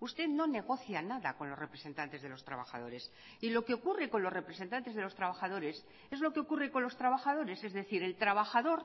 usted no negocia nada con los representantes de los trabajadores y lo que ocurre con los representantes de los trabajadores es lo que ocurre con los trabajadores es decir el trabajador